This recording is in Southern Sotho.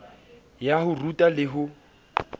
ya ho ruta le ho